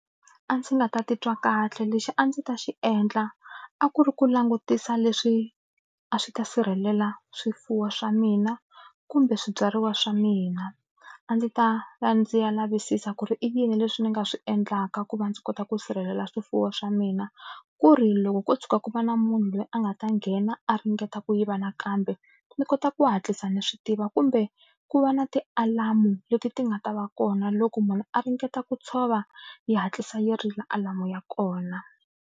A ndzi nga ta titwa kahle lexi a ndzi ta xi endla a ku ri ku langutisa leswi a swi ta sirhelela swifuwo swa mina kumbe swibyariwa swa mina a ndzi ta ya ndzi ya lavisisa ku ri i yini leswi ni nga swi endlaka ku va ndzi kota ku sirhelela swifuwo swa mina ku ri loko ko tshuka ku va na munhu loyi a nga ta nghena a ringeta ku yiva nakambe ni kota ku hatlisa ni swi tiva kumbe ku va na tialamu leti ti nga ta va kona loko munhu a ringeta ku tshova yi hatlisa yi rila alamu ya kona.